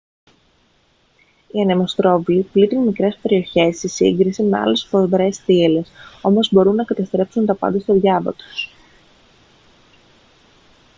οι ανεμοστρόβιλοι πλήττουν μικρές περιοχές σε σύγκριση με άλλες σφοδρές θύελλες όμως μπορούν να καταστρέψουν τα πάντα στο διάβα τους